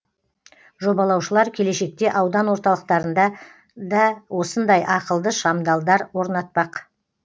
жобалаушылар келешекте аудан орталықтарында да осындай ақылды шамдалдар орнатпақ